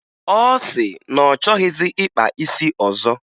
Ọ sị na ọ chọghịzị ịkpa isi ọzọ